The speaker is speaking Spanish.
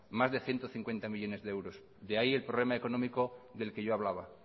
más de ciento cincuenta millónes de euros de ahí el problema económico del que yo hablaba